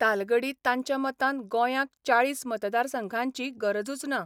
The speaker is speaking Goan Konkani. तालगडी तांच्या मतान गोंयांक चाळीस मतदारसंघांची गरजूच ना.